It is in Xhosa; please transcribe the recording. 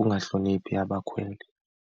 ungahloniphi abakhweli.